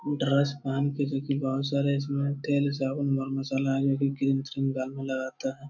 जो की बहुत सारे इसमें तेल साबुन व मसाला गाल में लगाता है।